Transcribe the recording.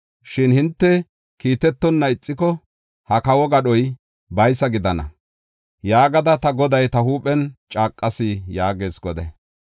Shin hinte kiitetonna ixiko, ha kawo gadhoy baysa gidana yaagada ta Goday ta huuphen caaqas’ ” yaagees Goday.